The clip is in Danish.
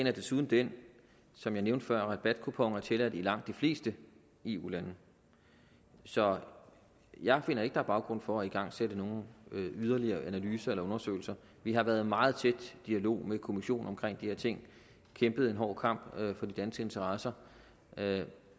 er desuden den som jeg nævnte før at rabatkuponer er tilladt i langt de fleste eu lande så jeg finder ikke er baggrund for at igangsætte nogle yderligere analyser eller undersøgelser vi har været i meget tæt dialog med kommissionen omkring de ting kæmpet en hård kamp for de danske interesser